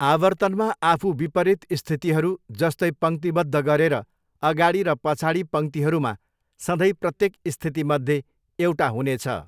आवर्तनमा आफू विपरीत स्थितिहरू, जस्तै पङ्क्तिबद्ध गरेर, अगाडि र पछाडि पङ्क्तिहरूमा सधैँ प्रत्येक स्थितिमध्ये एउटा हुनेछ।